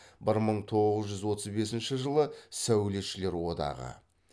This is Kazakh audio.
бір мың тоғыз жүз отыз бесінші жылы сәулетшілер одағы